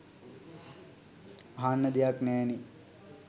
අහන්න දෙයක් නෑනේ.